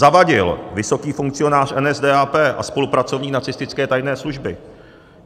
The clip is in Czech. Zawadil, vysoký funkcionář NSDAP a spolupracovník nacistické tajné služby.